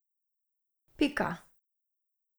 Pika.